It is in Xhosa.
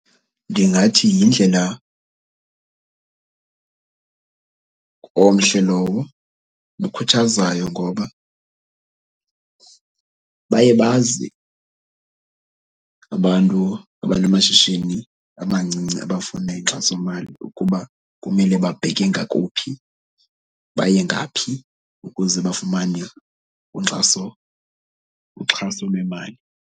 Ndingathi yindlela omhle lowo nokhuthazayo ngoba baye bazi abantu abanamashishini amancinci abafuna inkxasomali ukuba kumele babheke ngakuphi, baye ngaphi ukuze bafumane inkxaso, uxhaso lwemali.